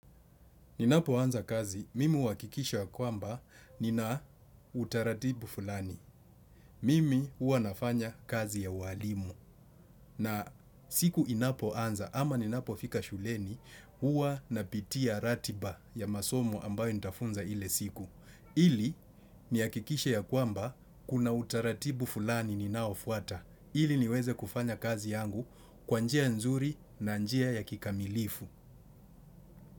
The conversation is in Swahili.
Ninapo anza kazi, mimi uhakikisha ya kwamba nina utaratibu fulani. Mimi huwa nafanya kazi ya ualimu. Na siku inapo anza ama ninapo fika shuleni, huwa napitia ratiba ya masomo ambayo nitafunza ile siku. Ili ni hakikishe ya kwamba kuna utaratibu fulani ninaofuata. Ili niweze kufanya kazi yangu kwa njia nzuri na njia ya kikamilifu.